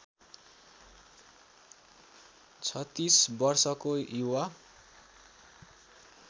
३६ वर्षको युवा